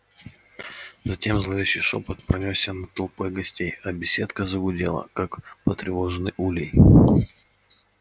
затем зловещий шёпот пронёсся над толпой гостей а беседка загудела как потревоженный улей